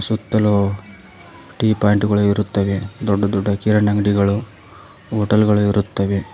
ಸುತ್ತಲು T point ಗಳು ಇರುತ್ತವೆ ದೊಡ್ಡ ದೊಡ್ಡ ಕಿರಣ್ ಅಂಗಡಿಗಳು ಹೋಟೆಲ್ ಗಳು ಇರುತ್ತವೆ.